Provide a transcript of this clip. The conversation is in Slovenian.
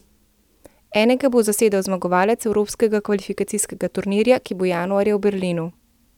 Enega bo zasedel zmagovalec evropskega kvalifikacijskega turnirja, ki bo januarja v Berlinu.